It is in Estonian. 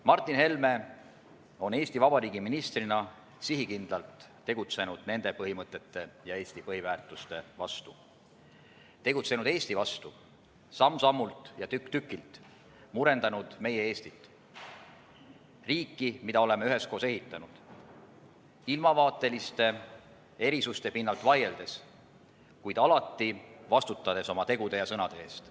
Martin Helme on Eesti Vabariigi ministrina sihikindlalt tegutsenud nende põhimõtete ja Eesti põhiväärtuste vastu, tegutsenud Eesti vastu, samm-sammult ja tükk-tükilt murendanud meie riiki, mida oleme üheskoos ehitanud, ilmavaateliste erisuste pinnalt vaieldes, kuid alati vastutades oma tegude ja sõnade eest.